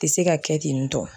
Tɛ se ka kɛ ten tɔ